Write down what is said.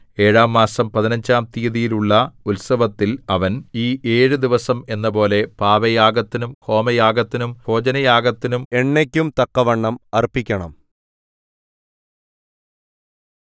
ഏഴാം മാസം പതിനഞ്ചാം തീയതിയിലുള്ള ഉത്സവത്തിൽ അവൻ ഈ ഏഴു ദിവസം എന്നപോലെ പാപയാഗത്തിനും ഹോമയാഗത്തിനും ഭോജനയാഗത്തിനും എണ്ണയ്ക്കും തക്കവണ്ണം അർപ്പിക്കണം